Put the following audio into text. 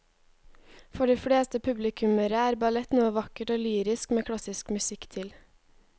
For de fleste publikummere er ballett noe vakkert og lyrisk med klassisk musikk til.